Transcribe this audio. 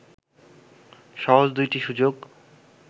সহজ দুটি সুযোগ